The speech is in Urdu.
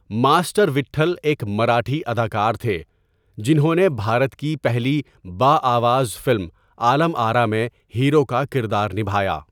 ماسٹر وٹهل ایک مراٹهی اداکار تهے جنہوں نے بهارت کی پہلی باآواز فلم عالم آراء میں ہیرو کا کردار نبهایا.